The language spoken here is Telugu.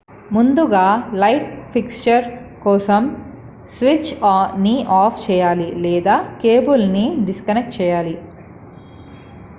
ముందుగా లైట్ ఫిక్చర్ కోసం స్విచ్ ని ఆఫ్ చేయాలి లేదా కేబుల్ ని డిస్కనెక్ట్ చేయాలి